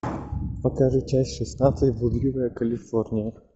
покажи часть шестнадцать блудливая калифорния